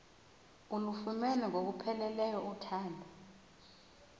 ulufumene ngokupheleleyo uthando